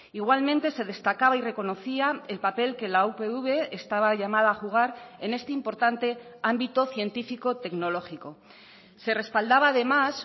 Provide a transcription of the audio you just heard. igualmente se destacaba y reconocía el papel que la upv estaba llamada a jugar en este importante ámbito científico tecnológico se respaldaba además